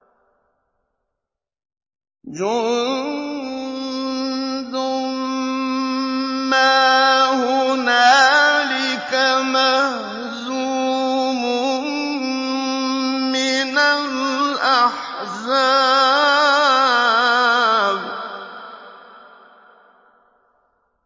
جُندٌ مَّا هُنَالِكَ مَهْزُومٌ مِّنَ الْأَحْزَابِ